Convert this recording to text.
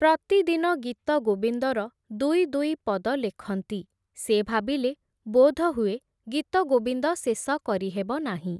ପ୍ରତିଦିନ ଗୀତଗୋବିନ୍ଦର ଦୁଇ ଦୁଇ ପଦ ଲେଖନ୍ତି, ସେ ଭାବିଲେ ବୋଧହୁଏ, ଗୀତଗୋବିନ୍ଦ ଶେଷ କରିହେବ ନାହିଁ ।